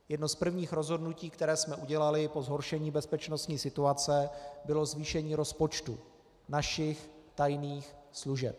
Jedno z prvních rozhodnutí, které jsme udělali po zhoršení bezpečnostní situace, bylo zvýšení rozpočtu našich tajných služeb.